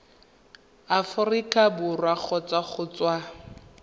aforika borwa kgotsa go tswa